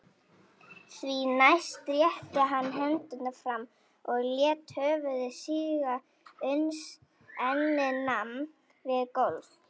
Því næst rétti hann hendurnar fram og lét höfuð síga uns ennið nam við gólf.